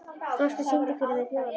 Frosti, syngdu fyrir mig „Þjóðlag“.